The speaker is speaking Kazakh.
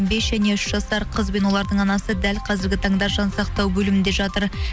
бес және үш жасар қызбен олардың анасы дәл қазіргі таңда жансақтау бөлімінде жатыр